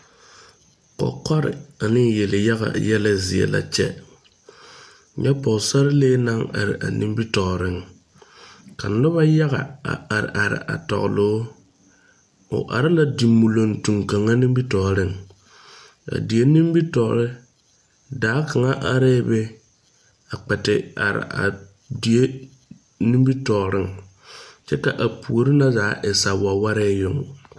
Kɔkɔre ane yelyaga zie la kyɛ nyɛ pɔɔsarelee naŋ are nimitooreŋ ka nobɔ yaga a are are a tɔgloo o are la di muloŋtumm kaŋa nimitooreŋ a die nimitoore daa kaŋa areɛɛ be a kpɛ te are a die nimitooreŋ kyɛ ka a puore na zaa e sa wɛwɛree yoŋ.